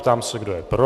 Ptám se, kdo je pro.